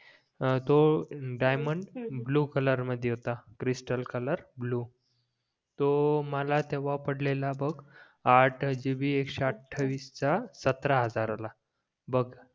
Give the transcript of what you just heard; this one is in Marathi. हां तो डायमंड ब्लू कलर मध्ये होता क्रिस्टल कलर ब्लू तो मला तेव्हा पडलेला बघ आट gb एकशेअठावीस चा सतरा हजारा ला बघ